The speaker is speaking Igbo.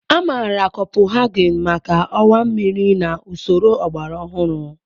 Amaara Kopuhaghen maka ọwa mmiri na usoro ọgbara ọhụrụ.